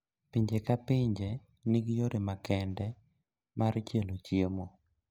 Pinje ka pinje nigi yore makende mar chielo chiemo